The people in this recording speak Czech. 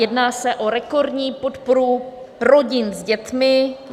Jedná se o rekordní podporu rodin s dětmi.